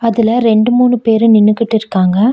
அதுல ரெண்டு மூணு பேரு நின்னுகிட்டு இருக்காங்க.